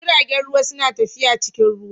Jiragen ruwa suna tafiya cikin ruwa.